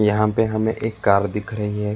यहां पे हमे एक कार दिख रही है।